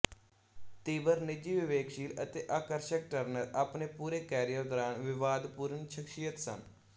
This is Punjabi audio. ਤੀਬਰ ਨਿੱਜੀ ਵਿਵੇਕਸ਼ੀਲ ਅਤੇ ਆਕਰਸ਼ਕ ਟਰਨਰ ਆਪਣੇ ਪੂਰੇ ਕੈਰੀਅਰ ਦੌਰਾਨ ਵਿਵਾਦਪੂਰਨ ਸ਼ਖਸੀਅਤ ਸਨ